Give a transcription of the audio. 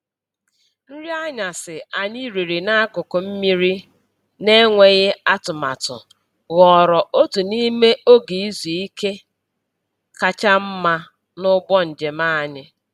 Nri anyasị anyị riri n’akụkụ osimiri n’enweghị atụmatụ ghọrọ otu n’ime oge izu ike kacha mma n’ụgbọ njem anyị.